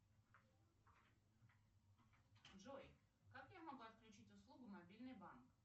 джой как я могу отключить услугу мобильный банк